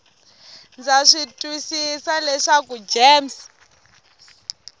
ndza swi twisisa leswaku gems